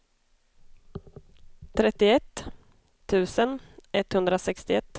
trettioett tusen etthundrasextioett